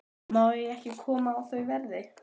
Má ég ekki koma á þau verði?